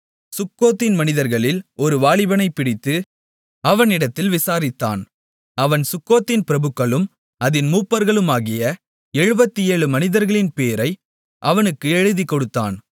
சுக்கோத்தின் மனிதர்களில் ஒரு வாலிபனைப் பிடித்து அவனிடத்தில் விசாரித்தான் அவன் சுக்கோத்தின் பிரபுக்களும் அதின் மூப்பர்களுமாகிய 77 மனிதர்களின் பேரை அவனுக்கு எழுதிக்கொடுத்தான்